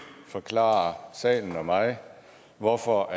forklare salen og mig hvorfor